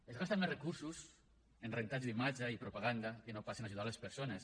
es gasten més recursos en rentats d’imatge i propaganda que no pas en ajudar les persones